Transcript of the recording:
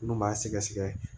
Minnu b'a sɛgɛsɛgɛ